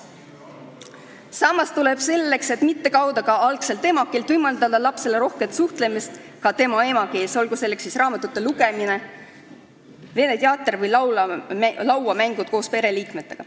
Samas tuleb selleks, et laps ei kaotaks emakeeleoskust, võimaldada lapsel rohkelt kasutada ka emakeelt, olgu selleks võimaluseks siis raamatute lugemine, venekeelne teater või lauamängud koos pereliikmetega.